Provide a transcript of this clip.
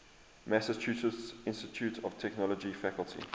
massachusetts institute of technology faculty